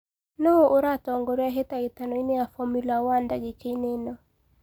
nũũ uratongorĩa hĩtahĩtoĩni ya formula one dagĩka ini ĩno